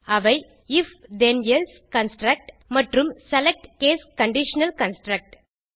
அவை if then else construct மற்றும் select case conditional construct